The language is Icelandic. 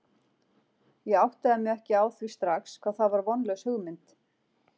Ég áttaði mig ekki á því strax hvað það var vonlaus hugmynd.